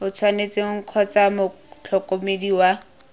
o tshwanetseng kgotsa motlhokomedi wa